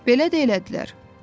Belə də elədilər.